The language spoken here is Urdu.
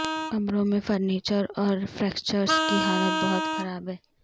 کمروں میں فرنیچر اور فکسچر کی حالت بہت خراب ہے